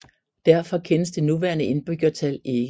Derfor kendes det nuværende indbyggertal ikke